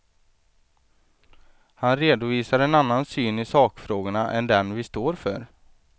Han redovisar en annan syn i sakfrågorna än den vi står för.